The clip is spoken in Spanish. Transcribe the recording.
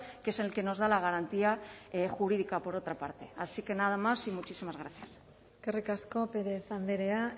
que es el que nos da la garantía jurídica por otra parte así que nada más y muchísimas gracias eskerrik asko pérez andrea